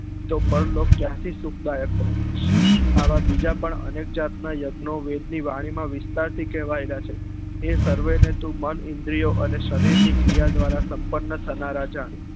તો પર લોક ક્યા થી સુખ દાયક હોય આવા બીજા પણ અનેક જાત નાં યજ્ઞો વેદ ની વાણી માં વિસ્તાર થી કેવયેલા છે એ સર્વે ને તું મન ઈન્દ્રીઓ અને સરીર ની ક્રિયા દ્વારા સંપન્ન થનારા જાણ